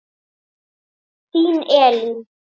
Þín Elín.